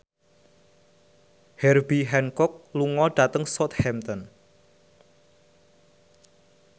Herbie Hancock lunga dhateng Southampton